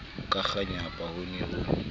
ka kganyapa ho ne ho